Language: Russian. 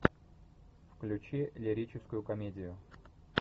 включи лирическую комедию